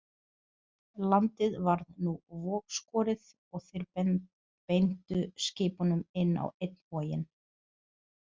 Landið varð nú vogskorið og þeir beindu skipunum inn á einn voginn.